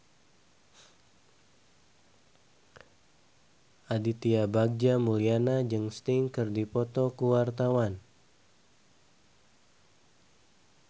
Aditya Bagja Mulyana jeung Sting keur dipoto ku wartawan